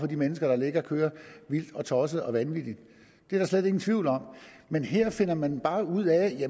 de mennesker der kører vildt og tosset og vanvittigt det er der slet ingen tvivl om men her finder man bare ud af